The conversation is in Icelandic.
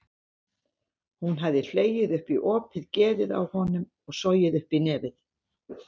Hún hafði hlegið upp í opið geðið á honum og sogið upp í nefið.